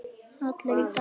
Allir í Dalinn!